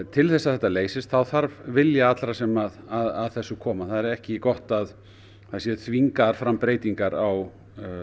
til þess að þetta leysist þá þarf vilja allra sem að þessu koma það er ekki gott að það séu þvingaðar fram breytingar á